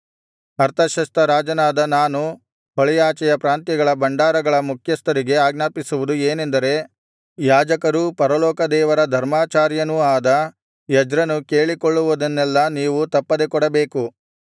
ಅರ್ತಷಸ್ತ ರಾಜನಾದ ನಾನು ಹೊಳೆಯಾಚೆಯ ಪ್ರಾಂತ್ಯಗಳ ಭಂಡಾರಗಳ ಮುಖ್ಯಸ್ಥರಿಗೆ ಆಜ್ಞಾಪಿಸುವುದು ಏನೆಂದರೆ ಯಾಜಕರೂ ಪರಲೋಕದೇವರ ಧರ್ಮಾಚಾರ್ಯನೂ ಆದ ಎಜ್ರನು ಕೇಳಿಕೊಳ್ಳುವುದನ್ನೆಲ್ಲಾ ನೀವು ತಪ್ಪದೆ ಕೊಡಬೇಕು